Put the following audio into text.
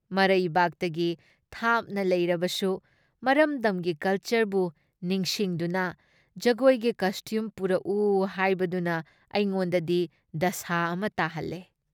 ꯃꯔꯩꯕꯥꯛꯇꯒꯤ ꯊꯥꯞꯅ ꯂꯩꯔꯕꯁꯨ ꯃꯔꯝꯗꯝꯒꯤ ꯀꯜꯆꯔꯕꯨ ꯅꯤꯡꯁꯤꯡꯗꯨꯅ ꯖꯒꯣꯏꯒꯤ ꯀꯁꯇ꯭ꯌꯨꯝ ꯄꯨꯔꯛꯎ ꯍꯥꯏꯕꯗꯨꯅ ꯑꯩꯉꯣꯟꯗꯗꯤ ꯗꯁꯥ ꯑꯃ ꯇꯥꯍꯜꯂꯦ ꯫